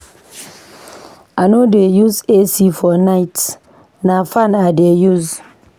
I no dey use AC for night, na fan I dey use.